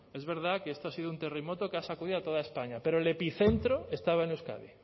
es verdad que esto ha sido un terremoto que ha sacudido a toda españa pero el epicentro estaba en euskadi